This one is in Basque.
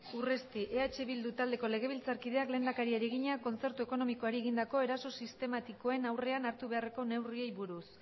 urresti eh bildu taldeko legebiltzarkideak lehendakariari egina kontzertu ekonomikoari egindako eraso sistematikoen aurrean hartu beharreko neurriei buruz